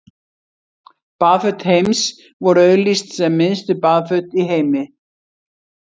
Baðföt Heims voru auglýst sem minnstu baðföt í heimi.